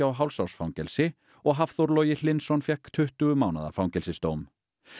og hálfs árs fangelsi og Hafþór Logi Hlynsson fékk tuttugu mánaða fangelsisdóm